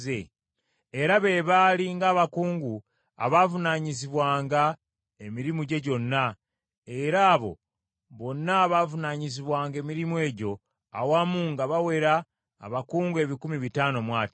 Era be baali nga abakungu abaavunaanyizibwanga emirimu gye gyonna, era abo bonna abaavunaanyizibwanga emirimu egyo, awamu nga bawera abakungu ebikumi bitaano mu ataano.